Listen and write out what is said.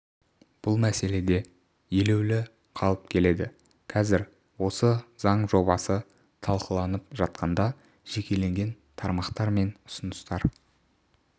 бұл мәселеде елеулі қалып келеді қазір осы заң жобасы талқыланып жатқанда жекелеген тармақтар мен ұсыныстар